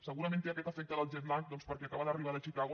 segurament té aquest efecte del jet lag perquè acaba d’arribar de chicago